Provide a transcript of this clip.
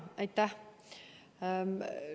Aitäh!